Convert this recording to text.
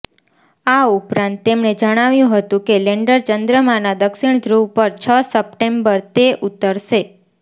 આ ઉપરાંત તેમણે જણાવ્યુ હતુ કે લેન્ડર ચંદ્રમાના દક્ષિણ ધ્રુવ પર છ સપ્ટેમ્બરે તે ઉતરશે